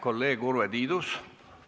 Kolleeg Urve Tiidus!